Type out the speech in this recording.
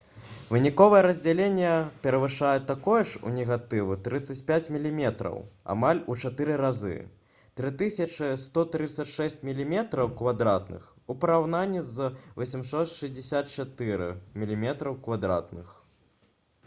выніковае раздзяленне перавышае такое ж у негатыву 35 мм амаль у чатыры разы 3136 мм² у параўнанні з 864 мм²